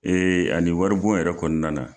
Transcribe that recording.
ani wari bon yɛrɛ kɔnɔna na.